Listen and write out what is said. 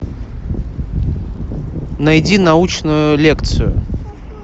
найди научную лекцию